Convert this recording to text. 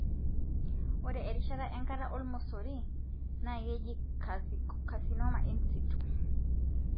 ore erishata e enkata e 0 na keji carcinoma insitu.